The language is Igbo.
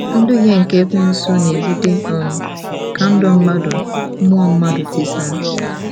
Nduhie nke Ekwensu na-ebute um ka ndụ mmadu mmụọ mmadụ tisaa